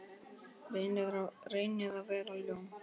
Reynir að vera ljón.